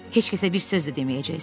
Heç kəsə bir söz də deməyəcəksiz.